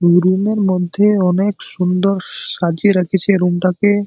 Room -এর মধ্যে অনেক সুন্দর সাজিয়ে রেখেছে রুম -টাকে।